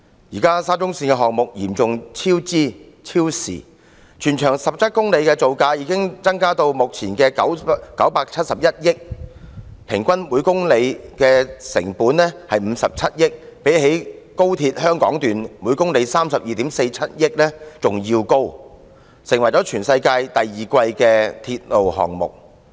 現時沙中線項目嚴重超支、超時，全長17公里的鐵路造價已增至目前的971億元，平均每公里的成本是57億元，相比高鐵香港段每公里32億 4,700 萬元更高，成為全世界第二昂貴的鐵路項目。